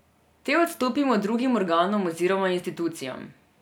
Te odstopimo drugim organom oziroma institucijam.